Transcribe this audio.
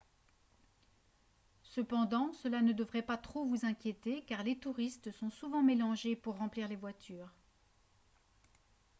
cependant cela ne devrait pas trop vous inquiéter car les touristes sont souvent mélangés pour remplir les voitures